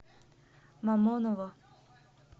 мамоново